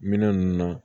Minɛn ninnu na